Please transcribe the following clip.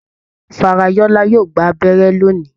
Farayola yóò gbà abẹ́rẹ́ lóni.